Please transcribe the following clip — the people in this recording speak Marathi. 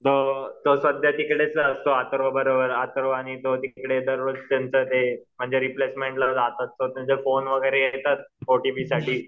तो सध्या तिकडेच असतो अथर्व आणि तो तिकडं ते म्हणजे रिप्लेसमेंटला जातात फोन वगैरे येतात ओटीपी साठी